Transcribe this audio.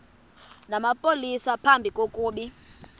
namapolisa phambi kokuba